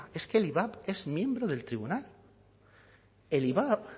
es que el ivap es miembro del tribunal el ivap